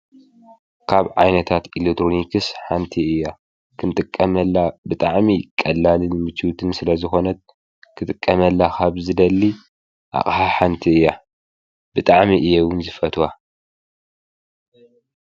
ካብ ዓይነታት ኢሌትሮኒክስ ሓንቲ እያ፡፡ ኽንጥቀመላ ብጥዕሚ ቐላልን ምችውትን ስለ ዝኾነት ክጥቀመላ ኻብ ዝደሊ ኣቕሓ ሓንቲ እያ፡፡ ብጥዕሚ እየ እውን ዝፈትዋ፡፡